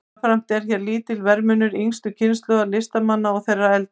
Jafnframt er hér lítill verðmunur yngstu kynslóðar listamanna og þeirrar eldri.